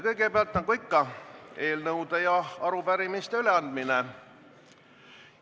Kõigepealt, nagu ikka, on eelnõude ja arupärimiste üleandmine.